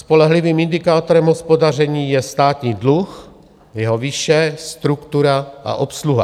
Spolehlivým indikátorem hospodaření je státní dluh, jeho výše, struktura a obsluha.